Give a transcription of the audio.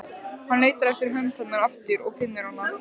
Hann leitar eftir hönd hennar aftur og finnur hana.